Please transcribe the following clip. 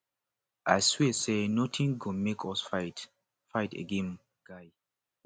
i swear say nothing go make us fight fight again guy